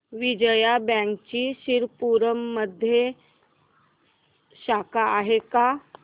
विजया बँकची शिरपूरमध्ये शाखा आहे का